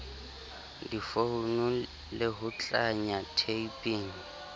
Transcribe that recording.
difounu le ho tlanya typing